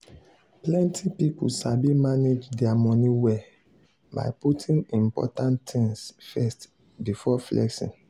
plenty people sabi manage their money well by putting important things first before flexing.